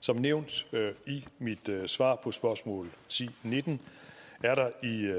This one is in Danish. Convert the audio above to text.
som nævnt i mit svar på spørgsmål ti nitten er der i